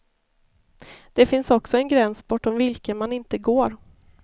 Det finns också en gräns bortom vilken man inte går.